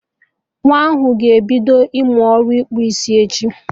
Nwa ahụ ga ebido ịmụ ọrụ ịkpụ isi, echi